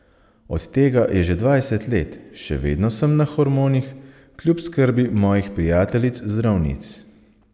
Od tega je že dvajset let, še vedno sem na hormonih kljub skrbi mojih prijateljic zdravnic.